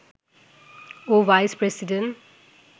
ও vice president